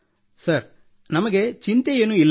sir ನಮಗೆ ಚಿಂತೆಯೇನೂ ಇಲ್ಲ